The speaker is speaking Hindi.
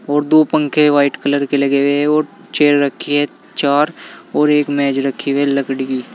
और दो पंखे व्हाइट कलर के लगे हुए हैं और चेयर रखी हुई हैं चार और एक मेज रखी हुई है लकड़ी की।